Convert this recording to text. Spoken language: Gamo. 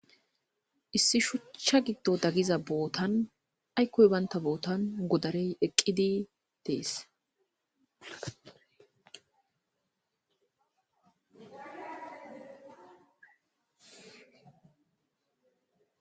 Issi shuchcha giddo dagiza bootan aykkoy banta bootan godarey eqqidi dees.